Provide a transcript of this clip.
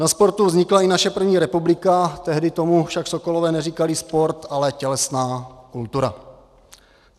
Na sportu vznikla i naše první republika, tehdy tomu však sokolové neříkali sport, ale tělesná kultura.